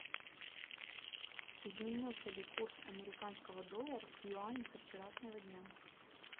изменился ли курс американского доллара к юаню со вчерашнего дня